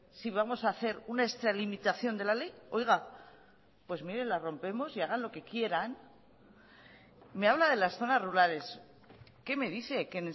si vamos a hacer una extralimitación de la ley pues mire la rompemos y hagan lo que quieran me habla de las zonas rurales qué me dice qué